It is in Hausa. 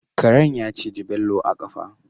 Karen ya ciji Bello a kafa